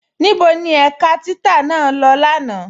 Níbo ni ẹ̀ká títà naa lọ́ lánà?